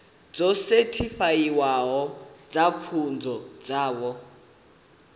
dzo sethifaiwaho dza pfunzo dzavho